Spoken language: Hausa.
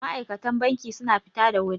ma'aikatan banki suna fita da wuri